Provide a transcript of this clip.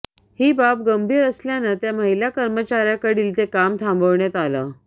ही बाब गंभीर असल्याने त्या महिला कर्मचार्याकडील ते काम थांबवण्यात आले